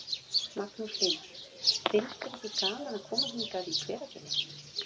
Magnús Hlynur: Finnst þér ekki gaman að koma hingað í Hveragerði?